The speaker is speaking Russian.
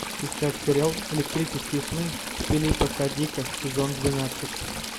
искать сериал электрические сны филипа к дика сезон двенадцать